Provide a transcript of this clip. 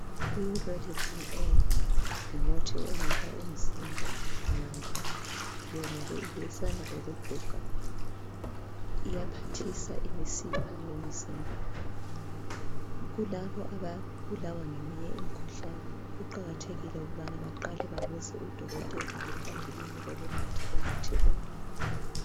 Irolithin A ngumuthi onika umzimba amandla yonake ilwisana lokuguga iyaphathisa imisipha yomzimba kulabo ababulawa ngeminye imikhuhlane kuqakathekile ukubana baqale babuze udokotela ngaphambilini kokunatha umuthi lo.